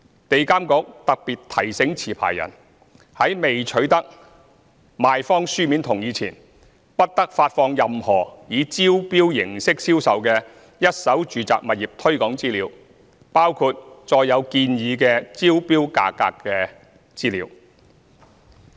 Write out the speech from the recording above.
地監局特別提醒持牌人，在未取得賣方書面同意前，不得發放任何以招標形式銷售的一手住宅物業推廣資料，包括載有建議之投標價格的資料。